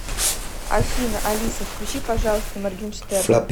афина алиса включи пожалуйста моргенштерна